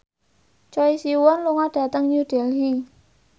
Choi Siwon lunga dhateng New Delhi